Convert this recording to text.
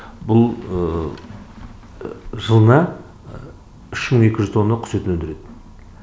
бұл жылына үш мың екі жүз тонна құс етін өндіреді